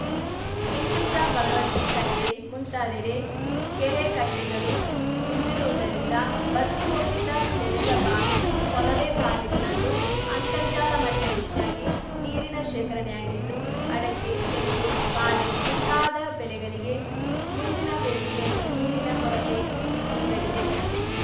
ಕೆಂಚಪುರ ಭಗವತಿ ಕಟ್ಟೆಮುಂತಾದೆಡೆ ಕೆರೆ ಕಟ್ಟೆಗಲು ತುಂಬಿರುವುದರಿಂದ ಭತ್ತಿ ಹೋಗಿದ್ದ ತೆರೆದ ಬಾವಿ ಕೊಲವೆ ಬಾವಿಗಲಲ್ಲೂ ಅಂತರ್ಜಾಲಮಟ್ಟಹೆಚ್ಚಾಗಿ ನೀರಿನ ಶೇಖರಣೆಯಾಗಿದ್ದು ಅಡಕೆ ತೆಂಗು ಬಾಲೆ ಮುಂತಾದ ಬೆಲೆಗಲಿಗೆ ಮುಂದಿನ ಬೇಸಿಗೆಯಲ್ಲಿ ನೀರಿನ ಕೊರತೆ ನೀಗಲಿದೆ